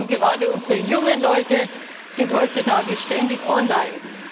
Und gerade unsere jungen Leute sind heutzutage ständig online.